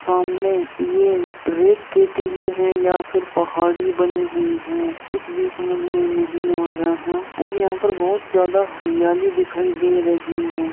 सामने ये रेत के टीले हैं या फिर पहाड़ी बनी हुई है कुछ भी समज में नहीं आ रहा और यहाँ पर बहुत ज्यादा हरियाली दिखाई दे रही है।